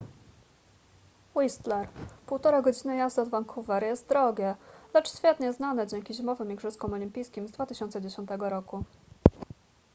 whistler 1,5 godziny jazdy od vancouver jest drogie lecz świetnie znane dzięki zimowym igrzyskom olimpijskim z 2010 roku